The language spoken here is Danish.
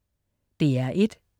DR1: